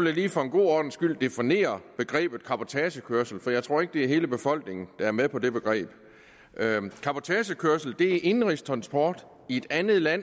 lige for en god ordens skyld definere begrebet cabotagekørsel for jeg tror ikke det er hele befolkningen der er med på det begreb cabotagekørsel er indenrigstransport i et andet land